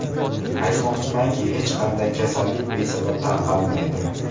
Aytmoqchimanki, hech qanday kasallik besabab tarqalmaydi.